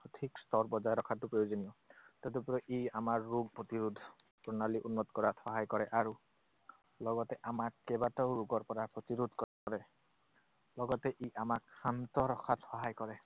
সঠিক স্তৰ বজাই ৰখাটো প্ৰয়োজনীয়। তদুপৰি ই আমাৰ ৰোগ প্ৰতিৰোধ প্ৰণালী উন্নত কৰাত সহায় কৰে আৰু লগতে আমাক কেইবাটাও ৰোগৰ পৰা প্ৰতিৰোধ কৰে। লগতে ই আমাক শান্ত ৰখাত সহায় কৰে।